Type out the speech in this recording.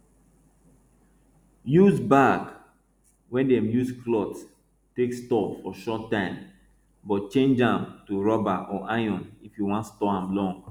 use bag wey dem use cloth take store for short time but change am to rubber or iron if you wan store am long